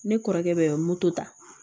Ne kɔrɔkɛ bɛ moto ta